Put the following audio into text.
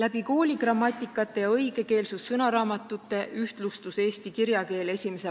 Aga alles 1917. aastal ehk sada aastat tagasi sai eesti keel ametlikuks keeleks.